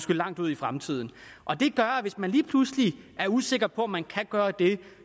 langt ud i fremtiden og det gør at hvis man lige pludselig er usikker på om man kan gøre det